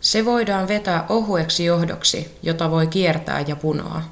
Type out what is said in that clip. se voidaan vetää ohueksi johdoksi jota voi kiertää ja punoa